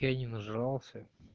я не нажрался